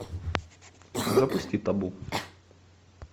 запусти табу